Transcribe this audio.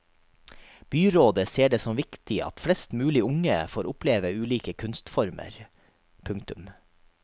Byrådet ser det som viktig at flest mulig unge får oppleve ulike kunstformer. punktum